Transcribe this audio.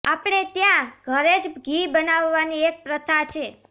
આપણે ત્યાં ઘરે જ ઘી બનાવવાની એક પ્રથા છે